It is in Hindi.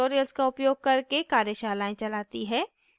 spoken tutorials का उपयोग करके कार्यशालाएं चलाती है